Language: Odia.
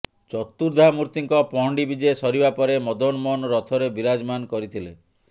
ଚତୁଦ୍ଧାମୂର୍ତ୍ତିଙ୍କ ପହଣ୍ଡି ବିଜେ ସରିବା ପରେ ମଦନମୋହନ ରଥରେ ବିରାଜମାନ କରିଥିଲେ